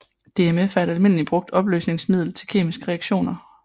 DMF er et almindeligt brugt opløsningsmiddel til kemiske reaktioner